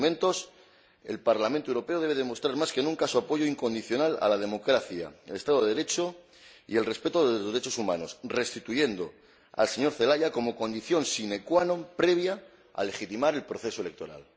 En estos momentos, el Parlamento Europeo debe demostrar más que nunca su apoyo incondicional a la democracia, al Estado de Derecho y al respeto de los derechos humanos, restituyendo al señor Zelaya como condición sine qua non previa a la legitimación del proceso electoral.